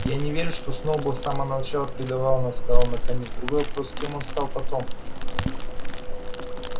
я не верю что сноуболл с самого начала предавал нас сказал он наконец другой вопрос кем он стал потом